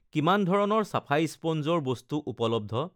কিমান ধৰণৰ চাফাই স্পঞ্জৰ বস্তু উপলব্ধ?